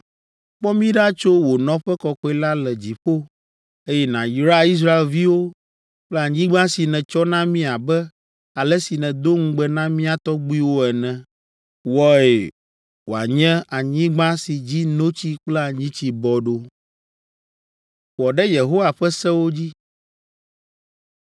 Kpɔ mí ɖa tso wò nɔƒe kɔkɔe la le dziƒo, eye nàyra Israelviwo kple anyigba si nètsɔ na mí abe ale si nèdo ŋugbe na mía tɔgbuiwo ene. Wɔe wòanye anyigba si dzi notsi kple anyitsi bɔ ɖo.’ ”